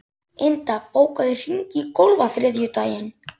Inda, bókaðu hring í golf á þriðjudaginn.